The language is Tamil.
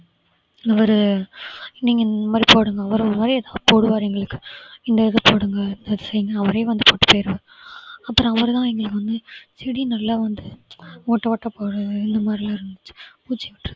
ஒரு நீங்க இந்த மாதிரி போடுங்க உரம் மாதிரி போடுவாரு எங்களுக்கு இந்த இது போடுங்க அந்த இது செய்யுங்க அவரே வந்து போட்டுட்டு போயிடுவாரு அப்புறம் அவரு தான் எங்களுக்கு வந்து செடி நல்லா வந்து ஓட்ட ஓட்ட போடுறது இந்த மாதிரியெல்லாம் இருந்துச்சு பூச்சி விட்ரு~